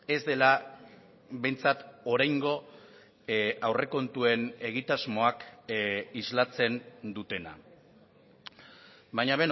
ez dela behintzat oraingo aurrekontuen egitasmoak islatzen dutena baina